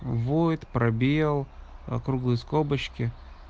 воет пробел округлые скобочки